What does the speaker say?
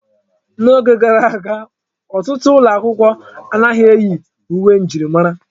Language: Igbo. N'oge gara aga, ọtụtụ ụlọ akwụkwọ anaghị eyi uwe njirimara.